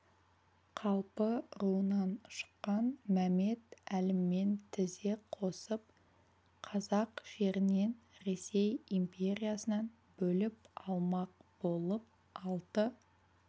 қалпы руынан шыққан мәмет әліммен тізе қосып қазақ жерін ресей империясынан бөліп алмақ болып алты